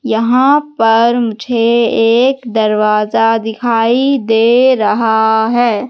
यहां पर मुझे एक दरवाज़ा दिखाई दे रहा है।